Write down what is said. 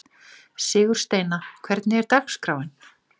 Sigursteina, hvernig er dagskráin?